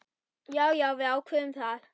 Já, við ákváðum það.